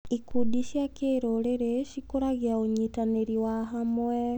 Ikundi cia kĩrũrĩrĩ cikũragia ũnyitanĩri wa hamwe.